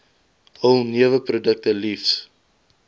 hul neweprodukte liefs